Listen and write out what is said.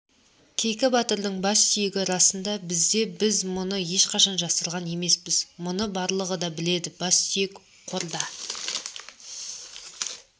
кейкі батырдың бассүйегі расында бізде біз мұны ешқашан жасырған емеспіз мұны барлығы да біледі бассүйек қорда